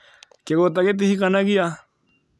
kĩgũta gĩtihikanagĩa?